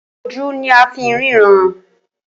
Ojú ní a fí ń ríran.